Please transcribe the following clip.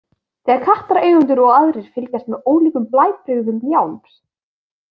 Þegar kattareigendur og aðrir fylgjast með ólíkum blæbrigðum mjálms.